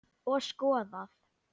Og skoðað.